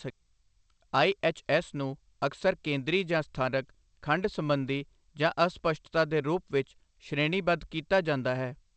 ਆਈ. HS. ਨੂੰ ਅਕਸਰ ਕੇਂਦਰੀ ਜਾਂ ਸਥਾਨਿਕ, ਖੰਡ ਸੰਬੰਧੀ, ਜਾਂ ਅਸਪਸ਼ਟਤਾ ਦੇ ਰੂਪ ਵਿੱਚ ਸ਼੍ਰੇਣੀਬੱਧ ਕੀਤਾ ਜਾਂਦਾ ਹੈ।